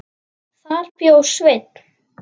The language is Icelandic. Þar bjó Sveinn